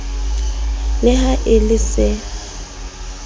le ha e le se